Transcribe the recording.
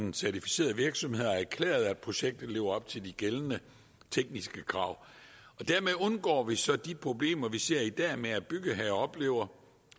en certificeret virksomhed har erklæret at projektet lever op til de gældende tekniske krav dermed undgår vi så de problemer vi ser i dag med at bygherrer oplever